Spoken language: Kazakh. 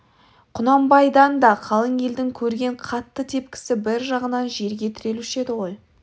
құнанбайдан да қалың елдің көрген қатты тепкісі бір жағынан жерге тірелуші еді ғой